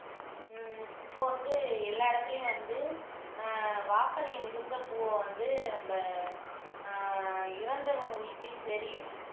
உம் இப்ப வந்து எல்லா இடத்துலயும் வந்து ஆஹ் வாசனை மிகுந்த பூவை வந்து நம்ம ஆஹ் இறந்தவங்க வீட்டிலேயும் சரி